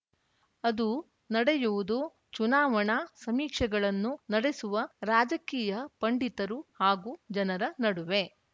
ಅದು ನಡೆಯುವುದು ಚುನಾವಣಾ ಸಮೀಕ್ಷೆಗಳನ್ನು ನಡೆಸುವ ರಾಜಕೀಯ ಪಂಡಿತರು ಹಾಗೂ ಜನರ ನಡುವೆ